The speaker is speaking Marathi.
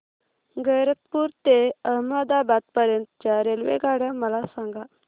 गैरतपुर ते अहमदाबाद पर्यंत च्या रेल्वेगाड्या मला सांगा